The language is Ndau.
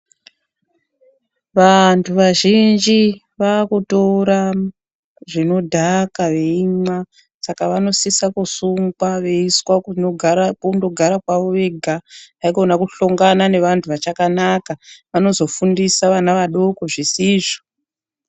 Vantu vazhinji vakutora zvinodhaka veimwa saka vanosisa kusungwa veiiswe kundogara kwavo vega haikona kuhlongana nevantu vachakanaka vanozofundisa vana vadoko zvisizvo.